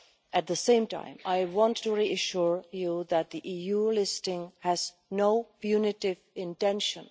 At the same time, I want to reassure you that the EU listing has no punitive intention.